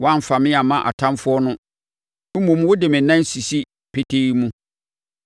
Woamfa me amma ɔtamfoɔ no mmom wode me nan asisi petee mu.